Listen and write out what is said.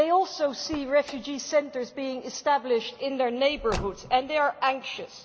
They also see refugee centres being established in their neighbourhoods, and they are anxious.